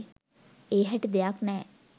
ඒ හැටි දෙයක් නැහැ.